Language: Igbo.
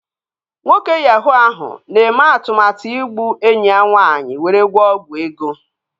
Nwoke yahuu ahụ na-eme atụmatụ igbu enyi ya nwaanyị were gwọọ ọgwụ ego